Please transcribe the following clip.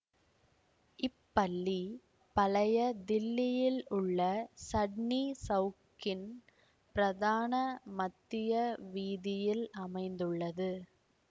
இப்பள்ளி பழைய தில்லியில் உள்ள சட்னி சவுக்கின் பிரதான மத்திய வீதியில் அமைந்துள்ளது